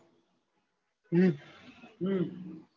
હમ હમ